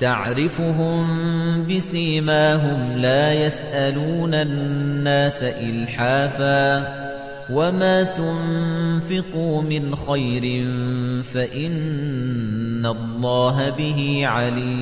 تَعْرِفُهُم بِسِيمَاهُمْ لَا يَسْأَلُونَ النَّاسَ إِلْحَافًا ۗ وَمَا تُنفِقُوا مِنْ خَيْرٍ فَإِنَّ اللَّهَ بِهِ عَلِيمٌ